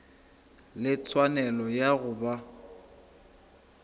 le tshwanelo ya go ba